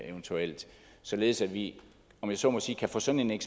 eventuelt således at vi om jeg så må sige kan få sådan en